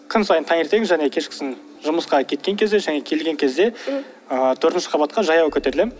күн сайын таңертең және кешкісін жұмысқа кеткен кезде және келген кезде ыыы төртінші қабатқа жаяу көтерілемін